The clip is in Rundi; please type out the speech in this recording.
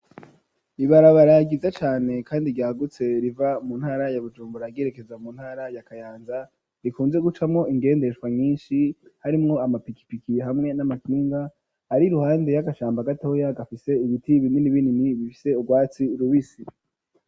Ibarabara ryiza cane kandi ryahagutse riva mu ntara ya bujumbura yerekeza mu ntara ya kayanza rikunze gucamo ingendeshwa nyinshi harimwo amapikipiki hamwe n'amakinga ari ruhande y'agashamba gatoya gafise ibiti binini binini bifise ubwatsi rubisi.